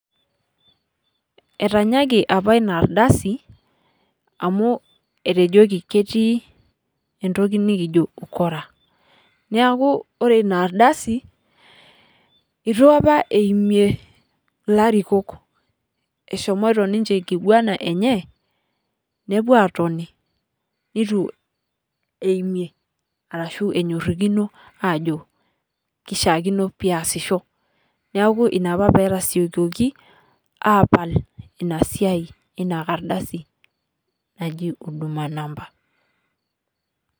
Etanyaki apa ina ardasi amuu etojiki ketii entoki nikijo ukora. Neaku ore ina ardasi ietu apa eimie ilarikook, eshomoito ninche enkiguana enye nepuo atoni neitu aimie ashu enyorikino ajo keishakino peyasisho. Neaku ina apa petasiokoki apal ina siai ina kardasi naajii huduma number.